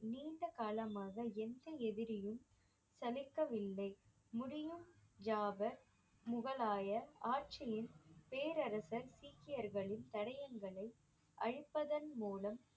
நீண்ட காலமாக எந்த எதிரியும் சலிக்கவில்லை முடியும் ஜாபர் முகலாயர் ஆட்சியின் பேரரசன் சீக்கியர்களின் தடயங்களை அழிப்பதன் மூலம்